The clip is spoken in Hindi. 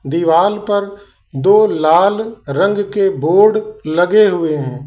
दीवाल पर दो लाल रंग के बोर्ड लगे हुए हैं।